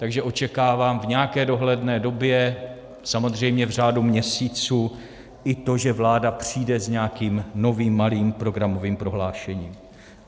Takže očekávám v nějaké dohledné době, samozřejmě v řádu měsíců, i to, že vláda přijde s nějakým novým malým programovým prohlášením.